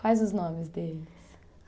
Quais os nomes deles?